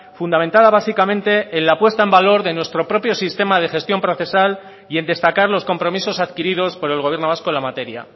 fundamentada básicamente en la puesta en valor de nuestro propio sistema de gestión procesal y en destacar los compromisos adquiridos por el gobierno vasco en la materia